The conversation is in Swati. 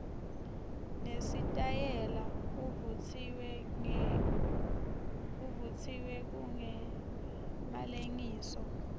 nesitayela kuvutsiwe kungemalengiso